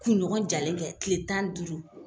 Kunɲɔgɔn jalen kɛ tile tan ni duuru